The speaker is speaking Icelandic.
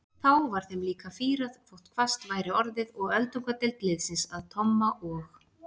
Þá var þeim líka fýrað þótt hvasst væri orðið og öldungadeild liðsins að Tomma og